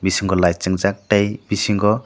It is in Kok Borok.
bisingo light chum jak tai bisingo.